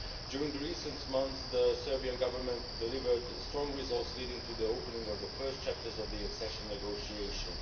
During recent months the Serbian Government delivered strong results, leading to the opening of the first chapters of the accession negotiations.